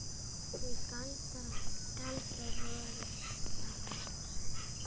Því galdrar voru það ekki.